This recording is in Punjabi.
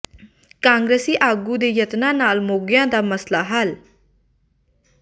ਕਾਂਗਰਸੀ ਆਗੂ ਦੇ ਯਤਨਾਂ ਨਾਲ ਮੋਘਿਆਂ ਦਾ ਮਸਲਾ ਹੱਲ